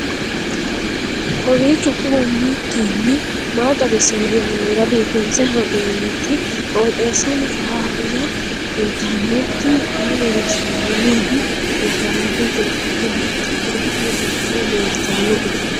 vkowiicho xuma mtini maa xawissanno yaannohura biifinse haa'noonniti qooxeessano faayya kultanno tini kayi leellishshannori mibnu nafara manchu ofollinoti gaawe xaaxire leeltannoe